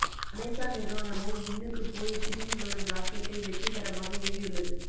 Amazon நிறுவனமும் விண்ணுக்கு போய் திரும்பி வரும் ராக்கெட்டை வெற்றிகரமாக ஏவியுள்ளது